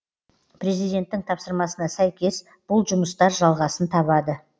президенттің тапсырмасына сәйкес бұл жұмыстар жалғасын табады